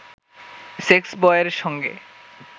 সেক্সবয়ের সঙ্গে